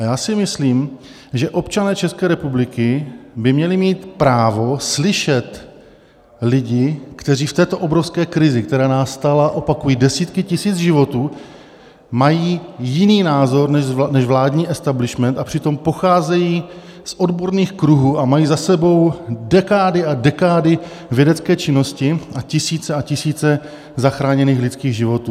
A já si myslím, že občané České republiky by měli mít právo slyšet lidi, kteří v této obrovské krizi, která nás stála, opakuji, desítky tisíc životů, mají jiný názor než vládní establishment, a přitom pocházejí z odborných kruhů a mají za sebou dekády a dekády vědecké činnosti a tisíce a tisíce zachráněných lidských životů.